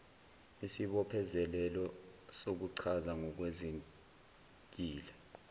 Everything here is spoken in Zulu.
isibophezelelo sokuchaza ngokwenzekile